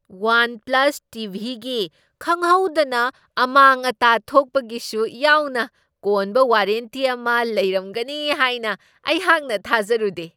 One plus ꯇꯤ.ꯚꯤ.ꯒꯤ ꯈꯪꯍꯧꯗꯅ ꯑꯃꯥꯡ ꯑꯇꯥ ꯊꯣꯛꯄꯒꯤꯁꯨ ꯌꯥꯎꯅ ꯀꯣꯟꯕ ꯋꯥꯔꯦꯟꯇꯤ ꯑꯃ ꯂꯩꯔꯝꯒꯅꯤ ꯍꯥꯏꯅ ꯑꯩꯍꯥꯛꯅ ꯊꯥꯖꯔꯨꯗꯦ꯫